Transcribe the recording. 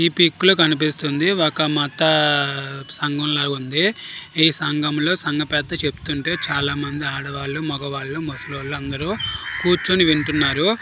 ఈ పిక్ లో కనిపిస్తుంది ఒక మతా సంఘమ్ ల వుంది ఈ సంఘమ్ లో సంఘ పెద్ద చెప్తుంటే చాల మంది ఆడవాళ్ళూ మగవాళ్ళు ముసలి వాళ్ళు అందరూ కుర్చుని వింటున్నారు.